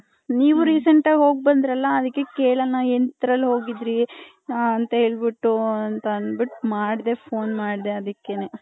ನೀವು ರೀಸೆಂಟ್ ಆಗಿ ಹೋಗಬಂದ್ರಲ್ಲ ಅದಿಕ್ಕೆ ಕೆಳನ ಎಂದ್ರಲ್ಲಿ ಹೋಗಿದ್ವಿ ಹ ಅಂತ ಹೇಳ್ಬಿಟ್ಟು ಮಾಡ್ದೆ phone ಮಾಡ್ದೆ ಅದಿಕೇನೆ .